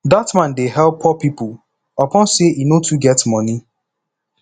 dat man dey help poor pipo upon sey e no too get moni